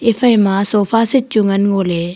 efaima sofa seat chu ngan ngo ley.